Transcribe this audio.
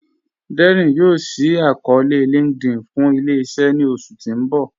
Dẹ́rín yoo ṣí àkọọ̀lẹ̀ linkedIn fún ilẹ̀-iṣẹ̀ ní oṣù tí n bọ̀.